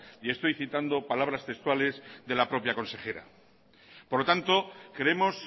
y estoy citando palabras textuales de la propia consejera por lo tanto creemos